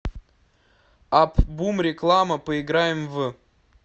апп бум реклама поиграем в